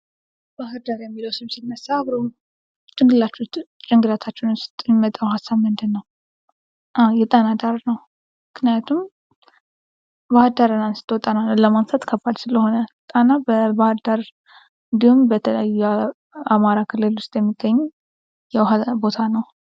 ባህር ዳር የሚለው ስም ሲነሳ አብሮ ጭንቅላታችሁ ውስጥ የሚመጣው ሐሳብ ምንድነው ? አዎ የጣና ዳር ነው ምክንያቱም ባህርዳርን አንስቶ ጣናን አለማንሳት ከባድ ስለሆነ ። ጣና በባህር ዳር እንዲሁም በተለያዩ የአማራ ክልል ውስጥ የሚገኙ የውሃ ቦታ ነው ።